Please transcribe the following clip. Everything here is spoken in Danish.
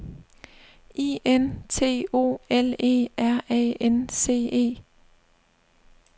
I N T O L E R A N C E